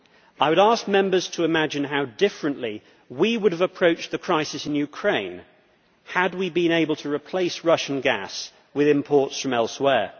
I would ask Members to imagine how differently we would have approached the crisis in Ukraine had we been able to replace Russian gas with imports from elsewhere.